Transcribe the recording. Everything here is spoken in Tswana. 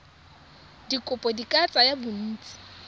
dikopo di ka tsaya bontsi